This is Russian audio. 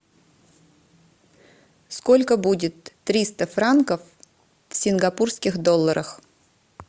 сколько будет триста франков в сингапурских долларах